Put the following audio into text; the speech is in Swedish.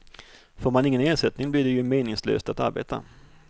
Får man ingen ersättning blir det ju meningslöst att arbeta.